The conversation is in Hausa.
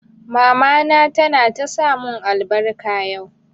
Mama ta na ta sa mun albarka yau